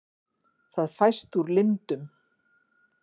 það fæst úr lindum